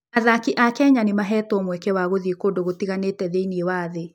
Athaki a Kenya nĩ maheetwo mweke wa gũthiĩ kũndũ gũtiganĩte thĩinĩ wa thĩ.